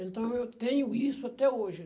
Então, eu tenho isso até hoje.